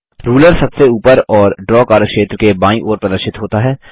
ruler सबसे ऊपर और ड्रा कार्यक्षेत्र के बायीं ओर प्रदर्शित होता है